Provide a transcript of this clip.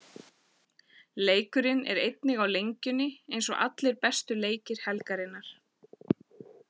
Leikurinn er einnig á Lengjunni eins og allir bestu leikir helgarinnar.